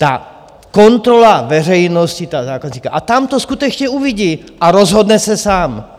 Ta kontrola veřejnosti, toho zákazníka a tam to skutečně uvidí a rozhodne se sám.